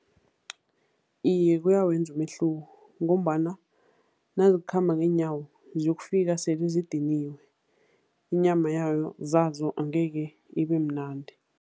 Iye, kuyawenza umehluko ngombana nazikhamba ngeenyawo ziyokufika sele sezidiniwe, inyama yayo zazo angeke ibemnandi.